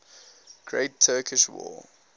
great turkish war